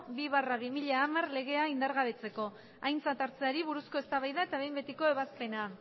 bi barra bi mila hamar legea indargabetzeko aintzat hartzeari buruzko eztabaida eta behin betiko ebazpena